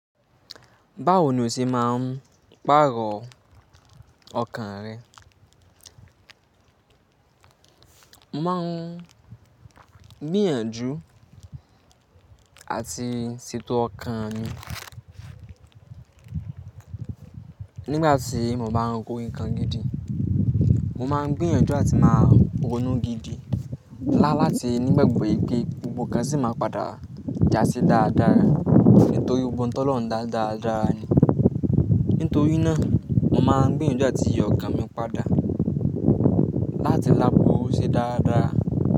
Báwo ni o ṣe máa ń pàrọ̀ ọkàn rẹ? Mo máa ń gbìyànjú àti ṣètò ọkàn mi nígbà tí mo bá ń ro nǹkan gidi. Mo máa ń gbìyànjú àti máa ronú gidi lá lati nígbàgbọ̀ yí pé gbogbo nǹkan sì máa padà jásí dáadáa nítorí gbogbo n tolọ́hùn da daradara ni. Nítorí náà mo máa ń gbìyànjú láti yọ ọkàn mi padà láti lápò ṣe dáadáa.